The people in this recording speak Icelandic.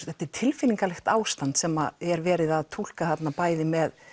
þetta er tilfinningalegt ástand sem er verið að túlka þarna bæði með